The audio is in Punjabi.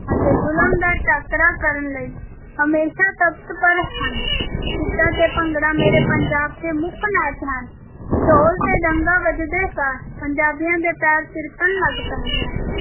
ਅਤੇ ਜ਼ੁਲਮ ਦਾ ਟਾਕਰਾ ਕਰਨ ਲਈ ਹਮੇਸ਼ਾ ਤੱਤਪਰ ਹਨ, ਗਿੱਧਾ ਤੇ ਭੰਗੜਾ ਮੇਰੇ ਪੰਜਾਬ ਦੇ ਮੁੱਖ ਨਾਚ ਹਨ, ਢੋਲ ‘ਤੇ ਡੱਗਾ ਵੱਜਦੇ ਸਾਰ ਪੰਜਾਬੀਆਂ ਦੇ ਪੈਰ ਥਿਰਕਣ ਲੱਗ ਪੈਂਦੇ ਹਨ।